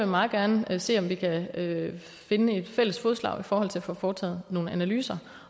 meget gerne vil se om vi kan finde fælles fodslag for at få foretaget nogle analyser